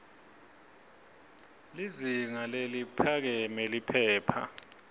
lizinga leliphakeme liphepha